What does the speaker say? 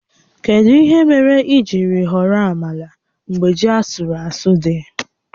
Kedu ihe mere i jiri họrọ amala mgbe ji asụrụ asụ dị?